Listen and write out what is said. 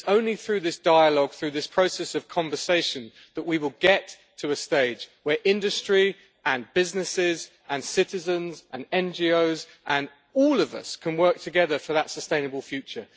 It is only through this dialogue, through this process of conversation, that we will get to a stage where industry and businesses and citizens and NGOs and all of us can work together for that sustainable future.